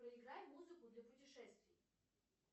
проиграй музыку для путешествий